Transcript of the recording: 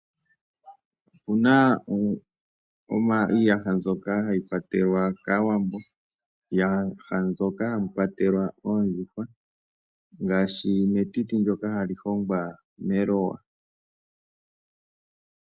Opuna iiyaha mbyoka hayi kwatelwa kAawambo, iiyaha mbyoka hayi kwatelwa oondjuhwa ngaashi metiti ndoka hali hongwa meloya.